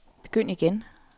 begynd igen